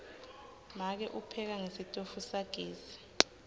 make upheka ngesitofu sagesi